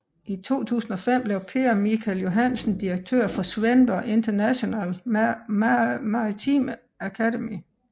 I 2005 blev Per Michael Johansen direktør for Svendborg International Maritime Academy